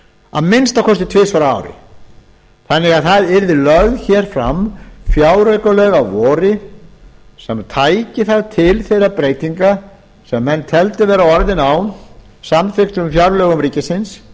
að minnsta kosti tvisvar á ári þannig að það verði lögð fram fjáraukalög að vori sem tækju það til þeirra breytinga sem menn teldu vera orðin á samþykktum fjárlögum ríkisins